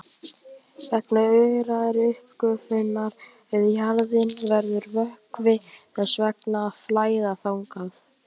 Vegna örari uppgufunar við jaðarinn verður vökvi þess vegna að flæða þangað.